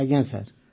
ଆଜ୍ଞା ସାର୍